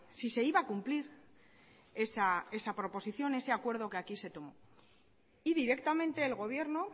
si se iba a cumplir esa proposición ese acuerdo que aquí se tomó y directamente el gobierno